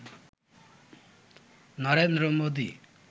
Narendra Modi